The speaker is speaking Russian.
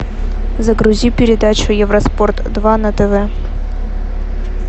загрузи передачу евроспорт два на тв